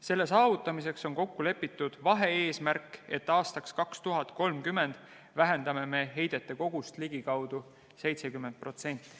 Selle saavutamiseks on kokku lepitud vahe-eesmärk, et aastaks 2030 vähendame heidete kogust ligikaudu 70%.